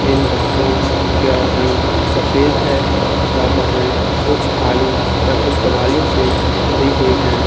इन बसों क्या रंग सफेद है तथा बसें कुछ खाली तथा कुछ सवारियों से भरी हुई है।